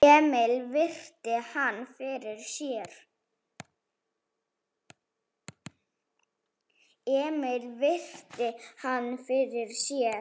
Emil virti hann fyrir sér.